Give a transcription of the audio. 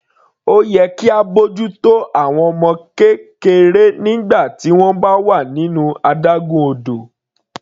Ó yẹ kí á bójú tó àwọn ọmọ kékeré nígbà tí wọ́n bá wà nínú adágún odò.